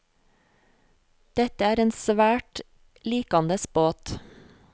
Dette er en svært likandes båt.